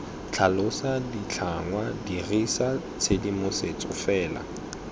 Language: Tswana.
tlhalosa ditlhangwa dirisa tshedimosetso fela